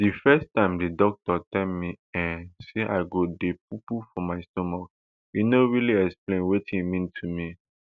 di first time di doctor tell me um say i go dey poopoo from my stomach e no really explain wetin e mean to me